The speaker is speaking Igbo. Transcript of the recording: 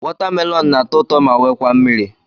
Watamelonụ na-atọ ụtọ ma wekwa mmiri.